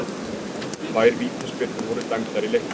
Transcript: Tvær vítaspyrnur voru dæmdar í leiknum